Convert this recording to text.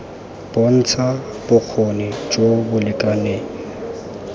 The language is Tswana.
bontsha bokgoni jo bo lekaneng